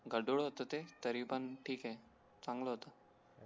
गढूळ होत ते तरी पण ठीके चांगलं होत